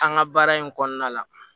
An ka baara in kɔnɔna la